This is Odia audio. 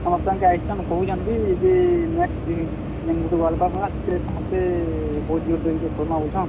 ସମସ୍ତଂକେ ଆଏସ୍ ଛନ୍ କହୁଛନ୍ ବି ଯେ next ବି, ଯେନ୍ ଗୁଟେ WorldCup ହେବା ସେଥିରେ ସମସ୍ତେ ସେ ବହୁତ୍ ଜୋର୍ ଧରିକରି କର୍ ମା ବଲୁଛନ୍।